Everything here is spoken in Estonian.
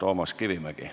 Toomas Kivimägi.